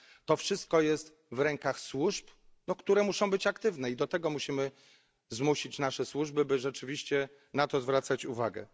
To wszystko jest w rękach służb, które muszą być aktywne, i do tego musimy zmusić nasze służby, by rzeczywiście na to zwracać uwagę.